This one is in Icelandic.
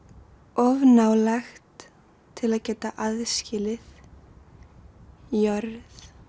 of ná lægt til að geta aðskilið jörð